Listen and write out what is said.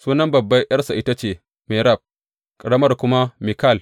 Sunan babban ’yarsa ita ce Merab, ƙaramar kuma Mikal.